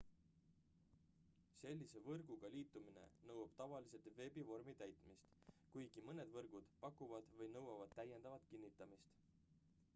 sellise võrguga liitumine nõuab tavaliselt veebivormi täitmist kuigi mõned võrgud pakuvad või nõuavad täiendavat kinnitamist